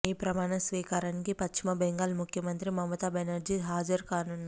ఈ ప్రమాణ స్వీకారానికి పశ్చిమబెంగాల్ ముఖ్యమంత్రి మమతా బెనర్జీ హాజరు కానున్నారు